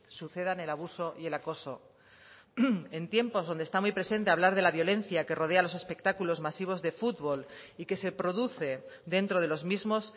sucedan el abuso y el acoso en tiempos donde está muy presente hablar de la violencia que rodea los espectáculos masivos de fútbol y que se produce dentro de los mismos